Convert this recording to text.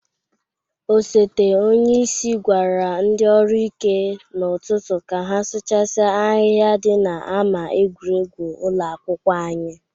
Osote onyeisi gwara ndị ọrụ ike n'ụtụtụ ka ha sụchasia ahịha dị n'ama egwuregwu ụlọ akwụkwọ anyị!